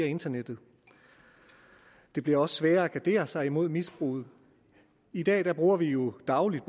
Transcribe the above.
internettet det bliver også sværere at gardere sig imod misbruget i dag bruger vi jo dagligt